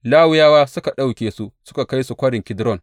Lawiyawa suka ɗauke su suka kai su Kwarin Kidron.